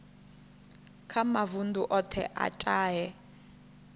kha mavundu othe a tahe